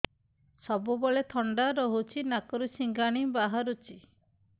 ସବୁବେଳେ ଥଣ୍ଡା ରହୁଛି ନାକରୁ ସିଙ୍ଗାଣି ବାହାରୁଚି